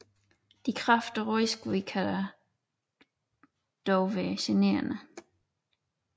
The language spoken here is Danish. De kraftige rodskud kan dog være generende